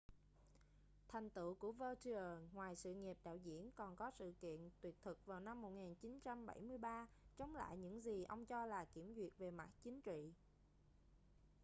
thành tựu của vautier ngoài sự nghiệp đạo diễn còn có sự kiện tuyệt thực vào năm 1973 chống lại những gì ông cho là kiểm duyệt về mặt chính trị